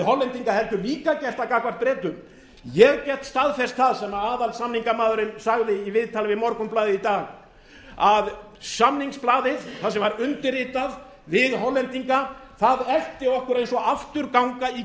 hollendinga heldur líka gert það gagnvart bretum ég get staðfest það sem aðalsamningamaðurinn sagði í viðtali við morgunblaðið í dag að samningsblaðið þar sem var undirritað við hollendinga það eltir okkur eins og afturganga í